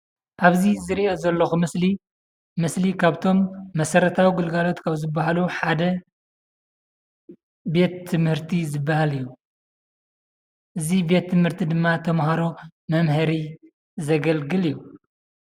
ኣብዚ ዝሪኣ ዘለኹ ምስሊ ምስሊ ካብቶም መሰረታዊ ግልጋሎት ካብ ዝበሃሉ ሓደ ቤት ትምህርቲ ዝበሃል እዩ፡፡ እዚ ቤት ትምህርቲ ድማ ተማሃሮ መምሃሪ ዘገልግል እዩ፡፡